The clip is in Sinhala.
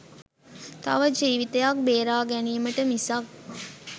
තව ජීවිතයක් බේරා ගැනීමට මිසක්